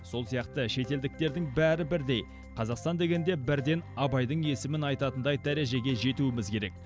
сол сияқты шетелдіктердің бәрі бірдей қазақстан дегенде бірден абайдың есімін айтатындай дәрежеге жетуіміз керек